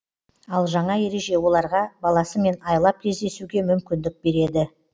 ал жаңа ереже оларға баласымен айлап кездесуге мүмкіндік береді